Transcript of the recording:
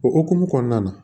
O hukumu kɔnɔna na